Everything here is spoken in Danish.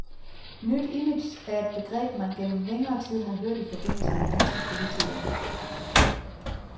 Nyt image er et begreb, man gennem længere tid har hørt i forbindelse med danske politikere.